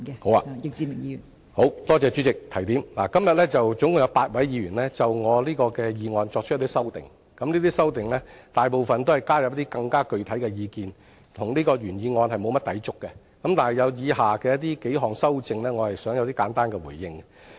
好的，多謝代理主席的提點，今天總共有8位議員就我這項議案作出修訂，這些修正案大部分均是加入更具體的意見，與原議案沒有甚麼抵觸，但我想對以下數項修正案，作簡單回應。